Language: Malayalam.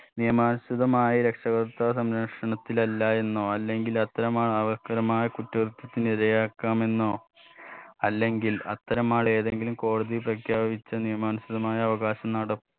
നിയമാനുസൃതമായി രക്ഷകർത്താ സംരക്ഷണത്തിലല്ലാ എന്നോ അല്ലെങ്കിൽ അത്തരം ആവർത്തകമായ കുറ്റകൃത്യത്തിനിരയാക്കാമെന്നോ അല്ലെങ്കിൽ അത്തരം ആൾ ഏതെങ്കിലും കോടതി പ്രഖ്യാപിച്ച നിയമാനുസൃതമായ അവകാശം നടപ്പ്